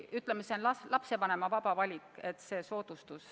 Ütleme, see on lapsevanema vaba valik.